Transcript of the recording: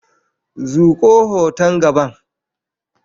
Zuƙo hoton gaban.